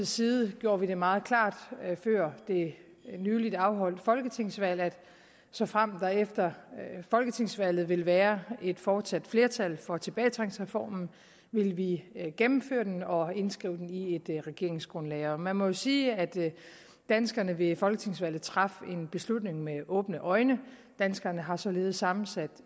side gjorde vi det meget klart før det nyligt afholdte folketingsvalg at såfremt der efter folketingsvalget ville være et fortsat flertal for tilbagetrækningsreformen ville vi gennemføre den og indskrive den i et regeringsgrundlag og man må jo sige at danskerne ved folketingsvalget traf en beslutning med åbne øjne danskerne har således sammensat